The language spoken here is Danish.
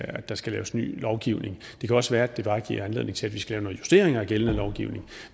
at der skal laves ny lovgivning det kan også være at det bare giver anledning til at vi skal have nogle justeringer af gældende lovgivning